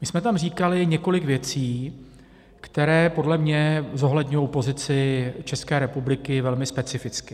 My jsme tam říkali několik věcí, které podle mě zohledňují pozici České republiky velmi specificky.